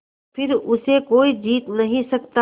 फिर उसे कोई जीत नहीं सकता